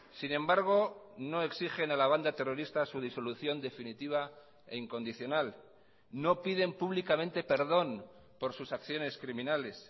sin embargo no exigen a la banda terrorista su disolución definitiva e incondicional no piden públicamente perdón por sus acciones criminales